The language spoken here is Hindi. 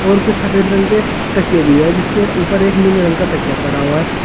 और कुछ सफेद रंग के तकिये भी है जिसके ऊपर एक नीले रंग का तकिया पड़ा हुआ है।